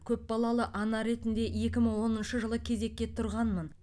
көпбалалы ана ретінде екі мың оныншы жылы кезекке тұрғанмын